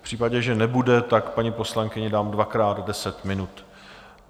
V případě, že nebude, tak paní poslankyni dám dvakrát deset minut.